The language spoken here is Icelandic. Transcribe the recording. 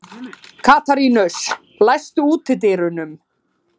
Katarínus, læstu útidyrunum.